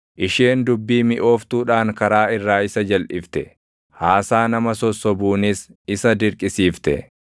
Isheen dubbii miʼooftuudhaan karaa irraa isa jalʼifte; haasaa nama sossobuunis isa dirqisiifte.